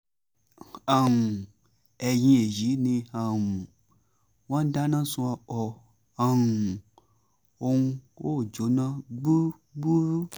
um ẹ̀yìn èyí ni um wọ́n dáná sun ọkọ̀ um ọ̀hún ó jóná gbúgbúrú